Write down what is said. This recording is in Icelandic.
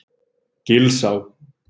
Gilsá